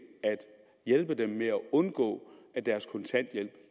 hjælpe dem med at undgå at deres kontanthjælp